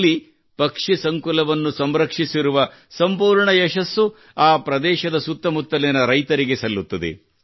ಇಲ್ಲಿ ಪಕ್ಷಿ ಸಂಕುಲವನ್ನು ಸಂರಕ್ಷಿಸುವ ಸಂಪೂರ್ಣ ಶ್ರೇಯಸ್ಸು ಆ ಪ್ರದೇಶದ ಸುತ್ತಮುತ್ತಲಿನ ರೈತರಿಗೆ ಸಲ್ಲುತ್ತದೆ